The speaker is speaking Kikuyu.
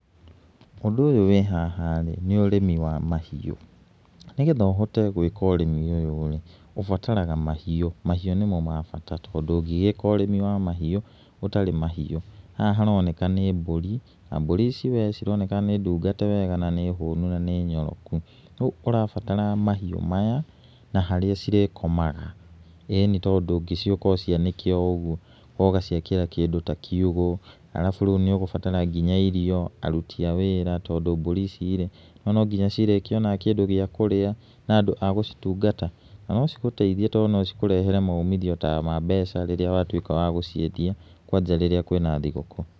Ũndũ ũyũ wĩ haha rĩ, nĩ ũrĩmi wa mahiũ. Nĩgetha ũhote gwĩka ũrĩmi ũyũ rĩ, ũbataraga mahiũ, mahiũ nĩmo ma bata tondũ ndũngĩgĩka ũrĩmi wa mahiũ ũtarĩ na mahiũ. Haha nĩ woneka nĩ mbũri, na mbũrĩ ici we cironeka nĩ ndungate wega na nĩ hũnu na nĩ nyoroku. Rĩu ũrabatara mahiũ maya na harĩa cirĩkomaga. ĩnĩ tondũ ndũngĩciũka ũcianĩke o ũguo. Ũgaciakira kĩndũ ta kiugũ. Arabu rĩu nĩ ũgũbatara nginya irio, aruti a wĩra, tondũ mbũri ici rĩ, nĩwona no nginya cirĩkĩona kĩndũ gĩa kũrĩa na andũ a gũcitungata. Na no cigũteithie tondũ no cikũrehere maumithio ta ma mbeca rĩrĩa watuĩka wa gũciendia, kwanja rĩrĩa kwĩna thigũkũ.